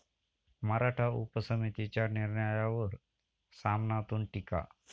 मराठा उपसमितीच्या निर्णयावर 'सामना'तून टीका!